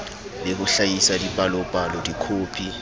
le ho hlahisa dipalopalo dikhopi